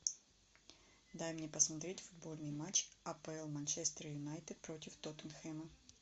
дай мне посмотреть футбольный матч апл манчестер юнайтед против тоттенхэма